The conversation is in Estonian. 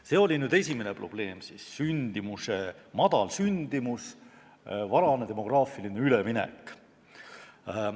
See oli siis esimene probleem: väike sündimus, varane demograafiline üleminek.